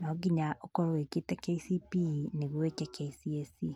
no nginya ũkorwo wĩkĩte KCPE nĩguo eke KCSE.